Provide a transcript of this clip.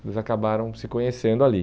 Eles acabaram se conhecendo ali.